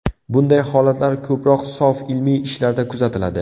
Bunday holatlar ko‘proq sof ilmiy ishlarda kuzatiladi.